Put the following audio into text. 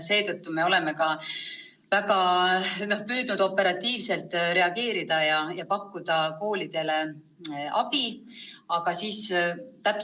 Seetõttu me oleme ka väga püüdnud operatiivselt reageerida ja koolidele abi pakkuda.